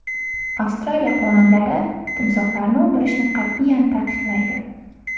Avstraliya qonunlari timsohlarni o‘ldirishni qat’iyan taqiqlaydi.